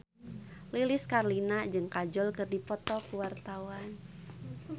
Lilis Karlina jeung Kajol keur dipoto ku wartawan